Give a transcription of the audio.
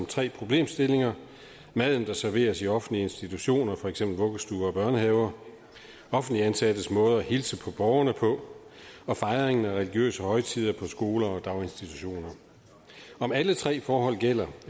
tre problemstillinger maden der serveres i offentlige institutioner som for eksempel vuggestuer og børnehaver offentligt ansattes måde at hilse på borgerne på og fejringen af religiøse højtider på skoler og daginstitutioner om alle tre forhold gælder